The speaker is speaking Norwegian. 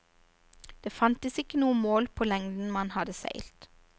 Det fantes ikke noe mål på lengden man hadde seilt.